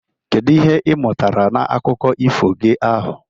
Kedu ihe ị mụtara na akụkọ ifo gi ahụ?